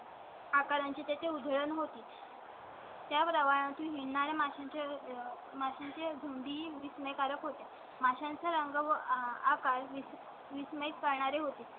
आकारांची त्या चें उधळण होती . त्याबरोबर तु येणार आहे माशांचे माशांच्या झुंडी विस्मयकारक होते. माशांचा रंग व आकार वीस वीस मॅच करणारे होते.